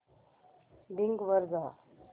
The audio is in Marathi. बिंग वर जा